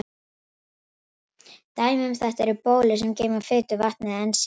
Dæmi um þetta eru bólur sem geyma fitu, vatn eða ensím.